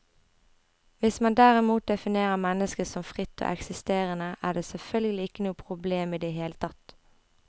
Hvis man derimot definerer mennesket som fritt og eksisterende, er det selvfølgelig ikke noe problem i det hele tatt.